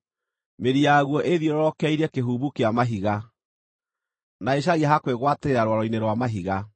mĩri yaguo ĩĩthiororokeirie kĩhumbu kĩa mahiga, na ĩcaragia ha kwĩgwatĩrĩra rwaro-inĩ rwa mahiga.